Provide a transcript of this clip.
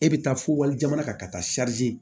E bɛ taa fo wali jamana kan ka taa